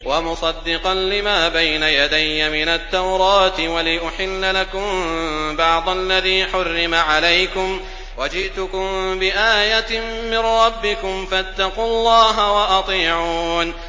وَمُصَدِّقًا لِّمَا بَيْنَ يَدَيَّ مِنَ التَّوْرَاةِ وَلِأُحِلَّ لَكُم بَعْضَ الَّذِي حُرِّمَ عَلَيْكُمْ ۚ وَجِئْتُكُم بِآيَةٍ مِّن رَّبِّكُمْ فَاتَّقُوا اللَّهَ وَأَطِيعُونِ